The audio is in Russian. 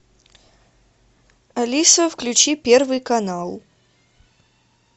алиса включи первый канал